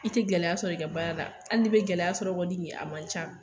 I tɛ gɛlɛya sɔrɔ i ka baara la, hali n'i bɛ gɛlɛya sɔrɔ kɔni yen a man ca.